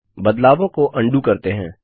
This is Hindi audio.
बदलावों को अन्डू करते हैं